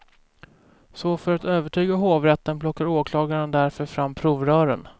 Så för att övertyga hovrätten plockar åklagaren därför fram provrören.